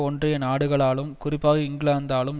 ஒன்றிய நாடுகளாலும் குறிப்பாக இங்கிலாந்தாலும்